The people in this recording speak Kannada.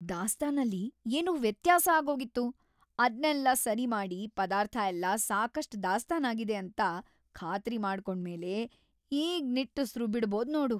ದಾಸ್ತಾನಲ್ಲಿ ಏನೋ ವ್ಯತ್ಯಾಸ ಆಗೋಗಿತ್ತು, ಅದ್ನೆಲ್ಲ ಸರಿ ಮಾಡಿ ಪದಾರ್ಥಯೆಲ್ಲ ಸಾಕಷ್ಟ್‌ ದಾಸ್ತಾನಾಗಿದೆ ಅಂತ ಖಾತ್ರಿ ಮಾಡ್ಕೊಂಡ್ಮೇಲೆ ಈಗ್ ನಿಟ್ಟುಸ್ರು ಬಿಡ್ಬೋದ್‌ ನೋಡು.